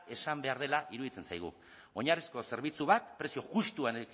esan behar dela iruditzen zaigu oinarrizko zerbitzu bat prezio justuan